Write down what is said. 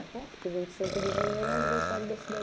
É, porque vinte e cinco de janeiro é aniversário da